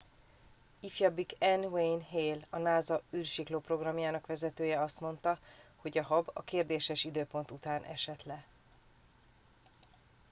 ifjabbik n wayne hale a nasa űrsiklóprogramjának vezetője azt mondta hogy a hab a kérdéses időpont után esett le